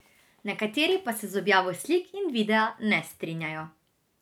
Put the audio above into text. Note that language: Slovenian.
Nekateri pa se z objavo slik in videa ne strinjajo.